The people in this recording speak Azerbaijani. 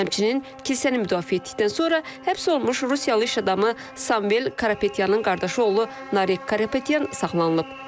Həmçinin kilsəni müdafiə etdikdən sonra həbs olunmuş Rusiyalı iş adamı Samuel Karapetyanın qardaşı oğlu Narek Karapetyan saxlanılıb.